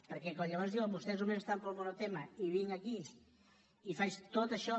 perquè quan llavors diuen vostès només estan pel monotema i vinc aquí i faig tot això